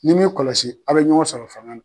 N'i min kɔlɔsi a be ɲɔgɔn sɔrɔ fanga la